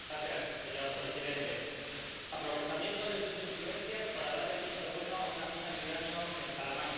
Señor Presidente, aprovechamiento de sus influencias para dar el visto bueno a una mina de uranio en Salamanca